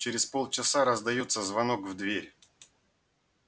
через полчаса раздаётся звонок в дверь